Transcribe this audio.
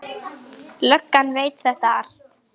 Löggan veit þetta allt.